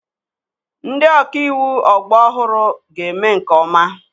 Ndị ọka iwu ọgbọ ọhụrụ ga-eme nke ọma.